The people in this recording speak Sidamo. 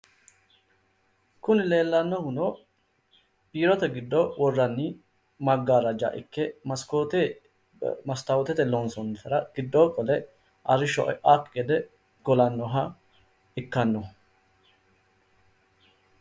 Kuni leellannohuno biirote giddo worranni maggaarraja ikke masikoote mastaawotete loonsoonnitera giddoo qole arrisho e'akki gede golannoha ikkanno